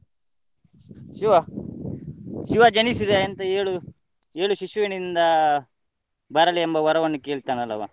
ಶಿವ ಶಿವ ಜನಿಸಿದ ಎಂತ ಏಳು ಏಳು ಶಿಶುವಿನಿಂದ ಬರಲಿ ಎಂಬ ವರವನ್ನು ಕೇಳ್ತಾನಲ್ಲಾವ.